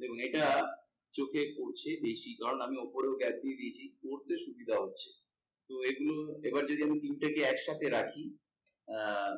দেখুন এটা চোখে পড়ছে বেশি কারণ আমি ওপরেও gap দিয়ে দিয়েছি, পড়তে সুবিধা হচ্ছে তো এগুলো যদি আমি তিনটাকে একসাথে রাখি আহ